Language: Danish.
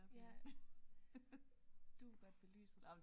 Ja du er godt belyset